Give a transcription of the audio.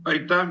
Aitäh!